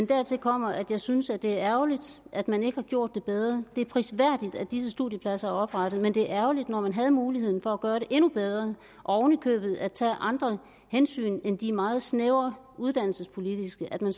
dertil kommer at jeg synes det er ærgerligt at man ikke har gjort det bedre det er prisværdigt at disse studiepladser er oprettet men det er ærgerligt når man havde muligheden for at gøre det endnu bedre og oven i købet for at tage andre hensyn end de meget snævre uddannelsespolitiske at man